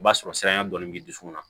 O b'a sɔrɔ siranya dɔɔnin b'i dusukun na